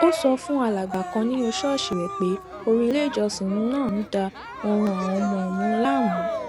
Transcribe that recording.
ó sọ fún alàgbà kan nínú ṣóòṣì rè pé orin ileìjọsìn ń da oorun àwọn ọmọ òun láàmú